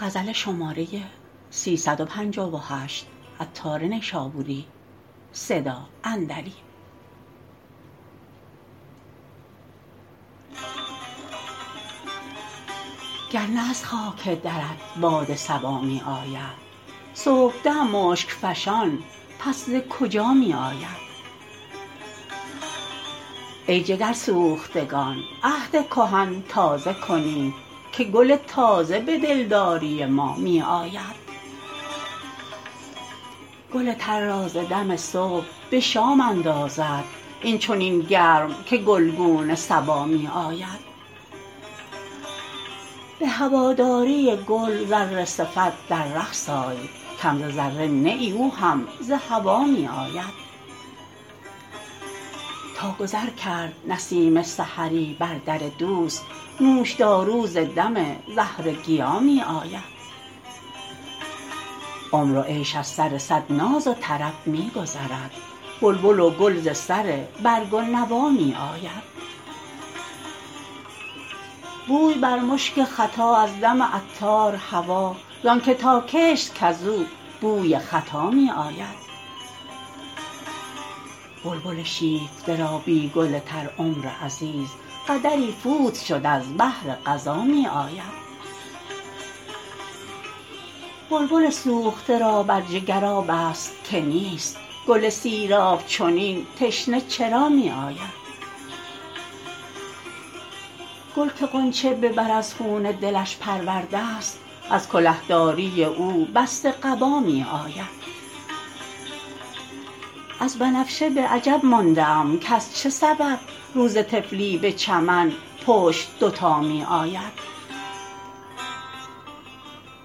گر نه از خاک درت باد صبا می آید صبحدم مشک فشان پس ز کجا می آید ای جگرسوختگان عهد کهن تازه کنید که گل تازه به دلداری ما می آید گل تر را ز دم صبح به شام اندازد این چنین گرم که گلگون صبا می آید به هواداری گل ذره صفت در رقص آی کم ز ذره نه ای او هم ز هوا می آید تا گذر کرد نسیم سحری بر در دوست نوش دارو ز دم زهرگیا می آید عمر و عیش از سر صد ناز و طرب می گذرد بلبل و گل ز سر برگ و نوا می آید بوی بر مشک ختا از دم عطار هوا زانکه ناکشت کزو بوی خطا می آید بلبل شیفته را بی گل تر عمر عزیز قدری فوت شد از بهر قضا می آید بلبل سوخته را در جگر آب است که نیست گل سیراب چنین تشنه چرا می آید گل که غنچه به بر از خون دلش پرورده است از کله داری او بسته قبا می آید از بنفشه به عجب مانده ام کز چه سبب روز طفلی به چمن پشت دوتا می آید